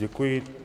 Děkuji.